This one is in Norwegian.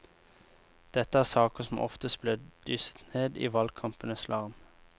Dette er saker som oftest blir dysset ned i valgkampenes larm.